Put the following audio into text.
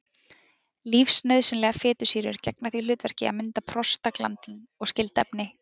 Lífsnauðsynlegar fitusýrur gegna því hlutverki að mynda prostaglandín og skyld efni.